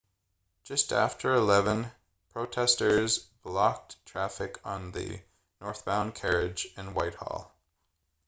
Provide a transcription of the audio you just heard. just after 11:00 protesters blocked traffic on the northbound carriage in whitehall